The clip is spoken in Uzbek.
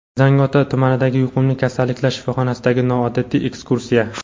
Zangiota tumanidagi yuqumli kasalliklar shifoxonasiga noodatiy ekskursiya.